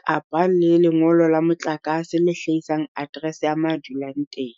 kapa le lengolo la motlakase le hlahisang address ya ma dulang teng.